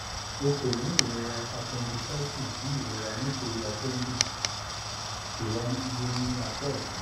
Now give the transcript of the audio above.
o ko ni irora appendicitis bi irora nitori appendix ti waye ni apa ọtun